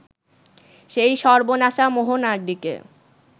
সেই সর্বনাশা মোহনার দিকে